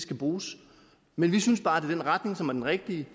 kan bruges men vi synes bare det den retning som er den rigtige